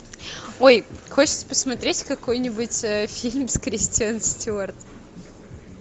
ой хочется посмотреть какой нибудь фильм с кристен стюарт